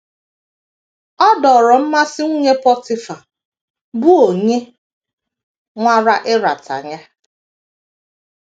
Ọ dọọrọ mmasị nwunye Pọtịfa, bụ́ onye nwara ịrata ya.